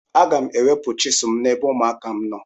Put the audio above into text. Aga m ewepụ chizụl m n'ebe ụmụaka m nọ.